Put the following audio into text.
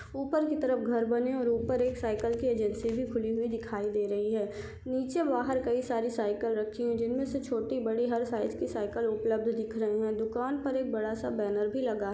ऊपर की तरफ घर बने है और ऊपर एक साइकिल की एजेंसी भी खुली हुई दिखाई दे रही है नीचे बाहर कई सारी साइकिल रखी हुई जिनमें से छोटी बड़ी हर साइज की साइकिल उपलब्ध दिख रही है दुकान पर एक बड़ा-सा बैनर भी लगा है।